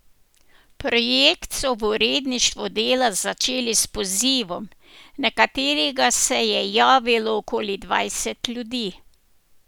Projekt so v uredništvu Dela začeli s pozivom, na katerega se je javilo okoli dvajset ljudi.